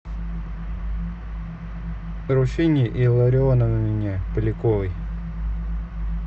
руфине илларионовне поляковой